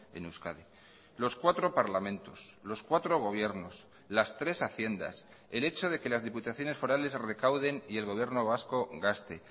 en euskadi los cuatro parlamentos los cuatro gobiernos las tres haciendas el hecho de que las diputaciones forales recauden y el gobierno vasco gaste